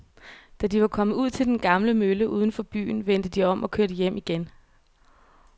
Da de var kommet ud til den gamle mølle uden for byen, vendte de om og kørte hjem igen.